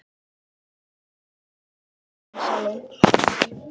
Gangi þér allt í haginn, Sólon.